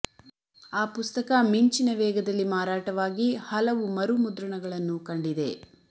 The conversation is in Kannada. ಆ ಪುಸ್ತಕ ಮಿಂಚಿನ ವೇಗದಲ್ಲಿ ಮಾರಾಟವಾಗಿ ಹಲವು ಮರು ಮುದ್ರಣಗಳನ್ನು ಕಂಡಿದೆ